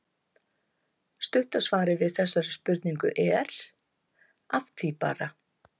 Stutta svarið við þessari spurningu er: Að því bara!